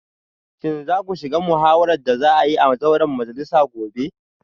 Shin za ku shiga muhawarar da za a yi a zauren majalisa gobe?